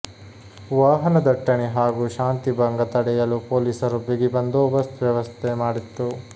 ವಾಹನ ದಟ್ಟಣೆ ಹಾಗೂ ಶಾಂತಿಭಂಗ ತಡೆಯಲು ಪೊಲೀಸರು ಬಿಗಿ ಬಂದೋಬಸ್ತ್ ವ್ಯವಸ್ಥೆ ಮಾಡಿತ್ತು